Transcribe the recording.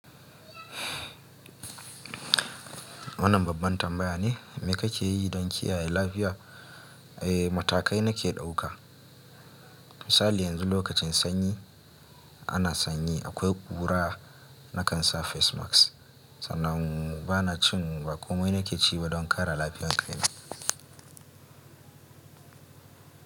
Wannan babban tambaya ne. Me kake yi don kiyaye lafiyar? Eh, matakai nake ɗauka. Misali yanzu lokacin sanyi ana sanyi, akwai ƙura nakan sa face mask sannan ba na cin baƙo. Mai nake ci don kare lafiyarki ne.